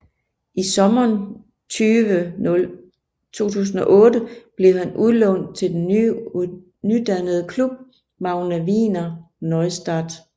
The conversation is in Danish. I sommeren 2008 blev han udlånt til den nydannede klub Magna Wiener Neustadt